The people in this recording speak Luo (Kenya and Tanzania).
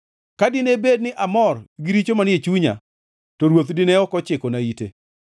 Ka dine bed ni amor gi richo manie chunya, to Ruoth dine ok ochikona ite,